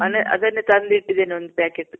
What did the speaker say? ಮೊನ್ನೆ ಅದನ್ನೇ ತಂದಿಟ್ಟಿದಿನಿ ಒಂದ್ packet